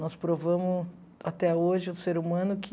Nós provamos até hoje ao ser humano que...